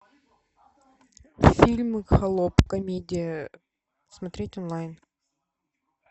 фильм холоп комедия смотреть онлайн